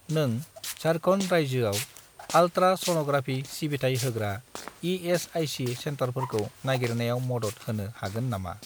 नों झारखन्ड रायजोआव ultra sonography सिबिथाय होग्रा इ.एस.आइ.सि. सेन्टारफोरखौ नागिरनायाव मदद होनो हागोन नामा?